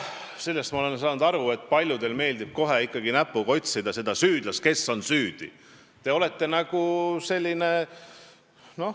Sellest ma olen aru saanud, et paljudele meeldib ikkagi näpuga otsida süüdlast, seda, kes on süüdi.